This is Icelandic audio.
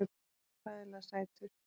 Hann var hræðilega sætur!